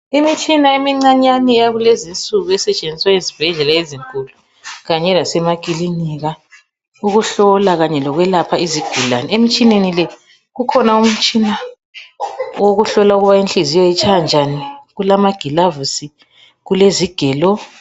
Imitshina emncinyane eyakulezinsuku esetshenziswa ezibhedlela ezinkulu kanye lemakilinika ukuhlola Kanye lokwelapha izigulane. Emitshineni le ukhona umtshina wokuhlola ukubana inhliziyo itshaya njani, kulamagilavusi kulezigelo.